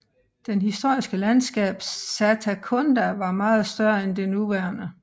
Det historiske landskab Satakunda var meget større end det nuværende